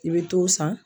I bɛ t'o san